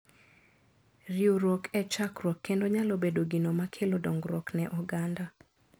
Riwruok e chakruok kendo nyalo bedo gino ma kelo dongruok ne oganda.